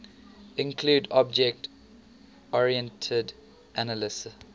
include object oriented analysis